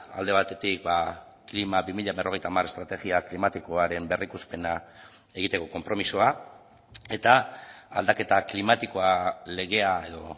alde batetik klima bi mila berrogeita hamar estrategia klimatikoaren berrikuspena egiteko konpromisoa eta aldaketa klimatikoa legea edo